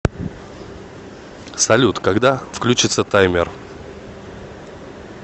салют когда влючится таймер